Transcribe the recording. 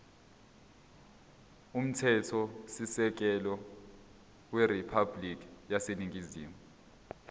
umthethosisekelo weriphabhulikhi yaseningizimu